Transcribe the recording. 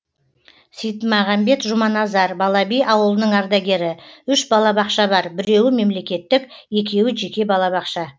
сейітмағамбет жұманазар балаби ауылының ардагері үш балабақша бар біреуі мемлекеттік екеуі жеке балабақша